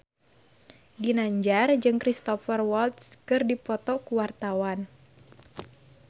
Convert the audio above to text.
Ginanjar jeung Cristhoper Waltz keur dipoto ku wartawan